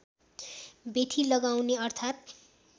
बेठी लगाउने अर्थात्